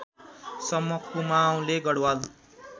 सम्म कुमाउँले गढवाल